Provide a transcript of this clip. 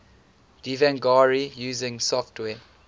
devanagari using software